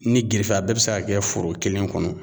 Ni gerefe a bɛɛ be se ka kɛ foro kelen kɔnɔ